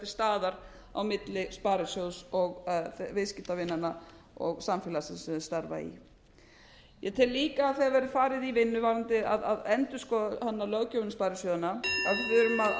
staðar á milli sparisjóðs og viðskiptavinanna og samfélagsins sem þau starfa í ég tel líka þegar verður farið í vinnu varðandi að endurskoða löggjöfina um sparisjóðina af því við erum að skilgreina þetta mjög skýrt við þurfum að ræða